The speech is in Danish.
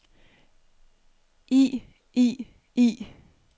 i i i